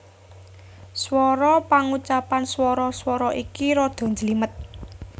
Swara Pangucapan swara swara iki rada njlimet